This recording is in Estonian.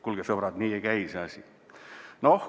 Kuulge, sõbrad, nii ei käi see asi!